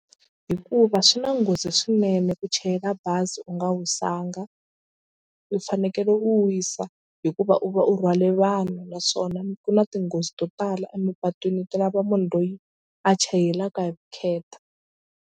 Hikuva swi na nghozi swinene ku chayela bazi u nga wisanga u fanekele u wisa hikuva u va u rhwale vanhu naswona ku na tinghozi to tala emapatwini ti lava munhu loyi a chayelaka hi vukheta.